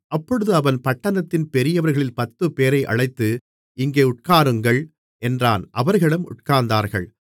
அப்பொழுது அவன் பட்டணத்தின் பெரியவர்களில் பத்துப்பேரை அழைத்து இங்கே உட்காருங்கள் என்றான் அவர்களும் உட்கார்ந்தார்கள்